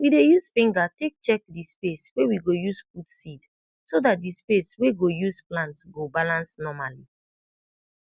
we dey use finger tak check de space wey we go use put seed so dat d space wey go use plant go balance normali